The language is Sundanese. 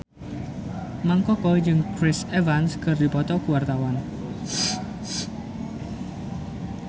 Mang Koko jeung Chris Evans keur dipoto ku wartawan